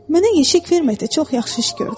Mənə yeşik verməklə çox yaxşı iş gördün.